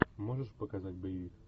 можешь показать боевик